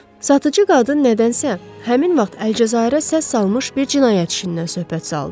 Satıcı qadın nədənsə həmin vaxt Əlcəzairə səs salmış bir cinayət işindən söhbət saldı.